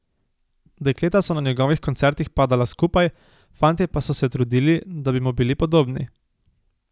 Dekleta so na njegovih koncertih padala skupaj, fantje pa so se trudili, da bi mu bili podobni.